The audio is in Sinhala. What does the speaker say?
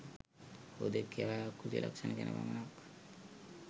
හුදෙක් ඒවායේ ආකෘතික ලක්ෂණ ගැන පමණක්